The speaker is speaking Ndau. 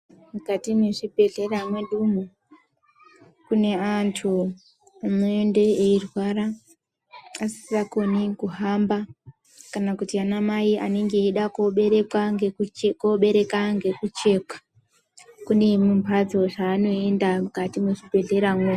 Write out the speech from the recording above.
Mukati mwezvibhedhlera mwedumwo kune antu anoende eirwara asisakoni kuhamba kana kuti anamai anenge eida koobereka ngekuchekwa kune zvimhatso zvaanoenda mukati mwezvi bhedhleramwo.